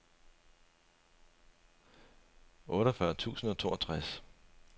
otteogfyrre tusind og toogtres